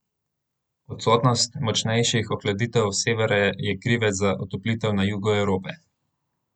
Odsotnost močnejših ohladitev s severa je krivec za otoplitev na jugu Evrope.